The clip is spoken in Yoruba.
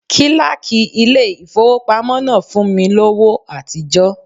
Kíláàkì ilé ìfowópamọ́ náà fún mi lówó àtijọ́.